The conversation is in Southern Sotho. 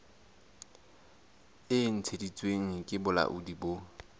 e ntshitsweng ke bolaodi bo